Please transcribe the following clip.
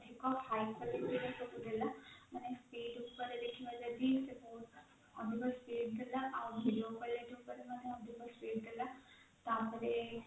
ସବୁ ଦେଲା ମାନେ speed ଉପରେ ଦେଖିବା ଯଦି ସେ ଅଧିକ speed ଦେଲା ଆଉ video ଉପରେ ବି ଅଧିକ speed ଦେଲା ତାପରେ